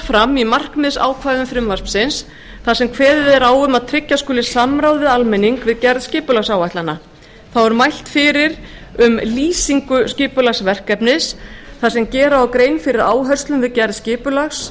fram í markmiðsákvæðum frumvarpsins þar sem kveðið er á um að tryggja skuli samráð við almenning við gerð skipulagsáætlana þá er mælt fyrir um lýsingu skipulagsverkefnis þar sem gera á grein fyrir áherslum við gerð skipulags